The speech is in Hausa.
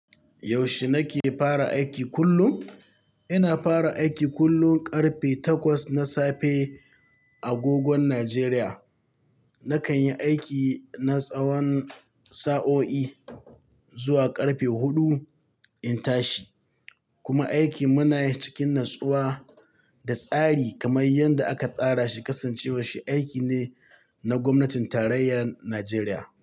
Yaushe nake fara aiki kullum? Ina fara aiki kullum ƙarfe takwas na safe a gogon Nijeriya. Nakan yi aiki na tsawan sa'o'i zuwa ƙarfe huɗu in tashi. Kuma aiki muna yi cikin natsuwa da tsari kamar yadda aka tsara shi kasancewa shi aiki ne na gwamnatin tarayyar Nijeriya.